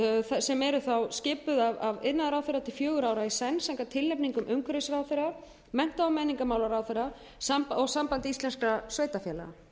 sem eru þá skipuð af iðnaðarráðherra til fjögurra ára í senn samkvæmt tilnefningum umhverfisráðherra mennta og menningarmálaráðherra og sambandi íslenskra sveitarfélaga